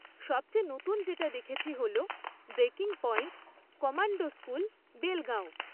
সবচেয়ে নতুন যেটা দেখেছি হল breaking point, commando school, Belgaum